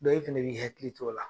E fɛnɛ b'i hakili t'o la.